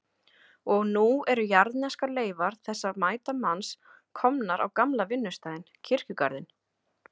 Og nú eru jarðneskar leifar þessa mæta manns komnar á gamla vinnustaðinn, kirkjugarðinn.